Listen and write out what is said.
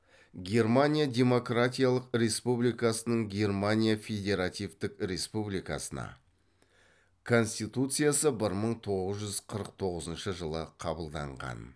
германия демократиялық республикасының германия федеративтік республикасына конституциясы бір мың тоғыз жүз қырық тоғызыншы жылы қабылданған